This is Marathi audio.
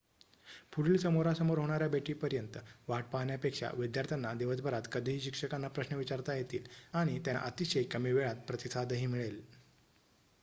पुढील समोरासमोर होणाऱ्या भेटीपर्यंत वाट पाहण्यापेक्षा विद्यार्थ्यांना दिवसभरात कधीही शिक्षकांना प्रश्न विचारता येतील आणि त्यांना अतिशय कमी वेळात प्रतिसादही मिळेल